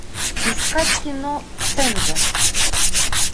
искать кино цензор